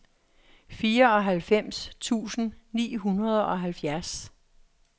fireoghalvfems tusind ni hundrede og halvfjerds